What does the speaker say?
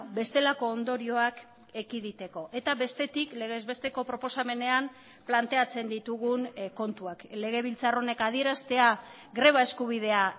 bestelako ondorioak ekiditeko eta bestetik legez besteko proposamenean planteatzen ditugun kontuak legebiltzar honek adieraztea greba eskubidea